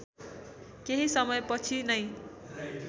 केही समयपछि नै